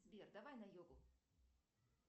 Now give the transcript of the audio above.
сбер давай на йогу